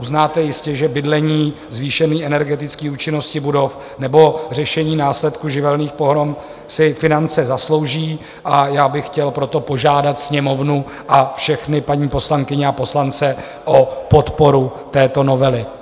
Uznáte jistě, že bydlení, zvýšení energetické účinnosti budov nebo řešení následků živelných pohrom si finance zaslouží, a já bych chtěl proto požádat Sněmovnu a všechny paní poslankyně a poslance o podporu této novely.